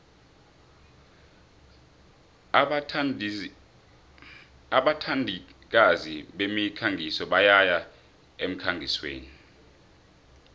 abathandikazi bemikhangiso bayaya emkhangisweni